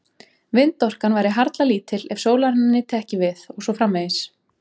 Vindorkan væri harla lítil ef sólarinnar nyti ekki við og svo framvegis.